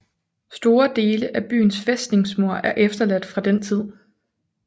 Store dele af byens fæstningsmur er efterladt fra den tid